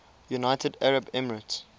united arab emirates